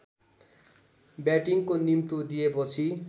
ब्याटिङको निम्तो दिएपछि